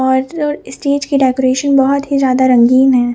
और स्टेज के डेकोरेशन बहोत ही ज्यादा रंगीन है।